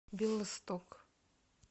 белосток